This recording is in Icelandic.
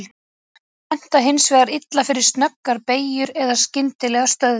Skautarnir henta hins vegar illa fyrir snöggar beygjur eða skyndilega stöðvun.